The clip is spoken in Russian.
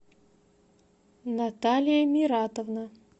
наталия миратовна